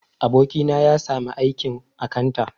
Abokina ya sami aikin akanta